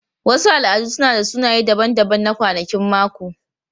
Wasu al'adu suna da sunaye daban-daban na kwanakin mako.